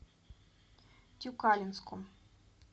тюкалинском